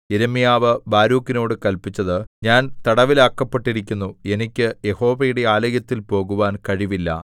യിരെമ്യാവ് ബാരൂക്കിനോടു കല്പിച്ചത് ഞാൻ തടവിലാക്കപ്പെട്ടിരിക്കുന്നു എനിക്ക് യഹോവയുടെ ആലയത്തിൽ പോകുവാൻ കഴിവില്ല